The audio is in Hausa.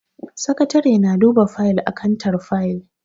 Sakatare na duba fayil a kantar fayil.